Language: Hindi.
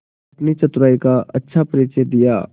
अपनी चतुराई का अच्छा परिचय दिया